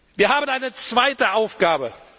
Wir haben eine zweite Aufgabe.